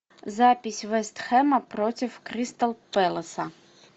запись вест хэма против кристал пэласа